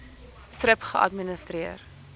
thrip geadministreer